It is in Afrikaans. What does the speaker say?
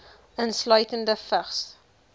insluitende vigs